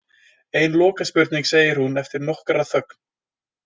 Ein lokaspurning, segir hún eftir nokkra þögn.